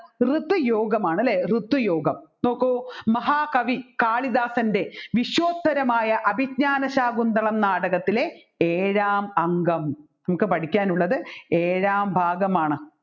ഋതുയോഗമാണ് അല്ലെ ഋതുയോഗം നോക്ക് മഹാകവി കാളിദാസൻെറ വിശ്വോത്തരമായ അഭിജ്ഞാനശാകുന്തളം നാടകത്തിലെ ഏഴാം അംഗം നമ്മുക്ക് പഠിക്കാനുള്ളത് ഏഴാം ഭാഗമാണ്